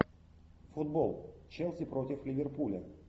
футбол челси против ливерпуля